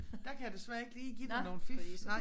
Der kan jeg desværre ikke lige dig nogen fif nej